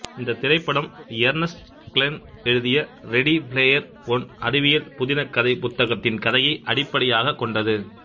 இந்தத் திரைப்படம் Ernest Cline எழுதிய ரெடி பிளேயர் ஒன் அறிவியல் புதினகதைப் புத்தகத்தின் கதையை அடிப்படியாக கொண்டது